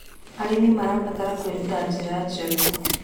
Arĩmĩ marabatara kwĩrũta njĩra njerũ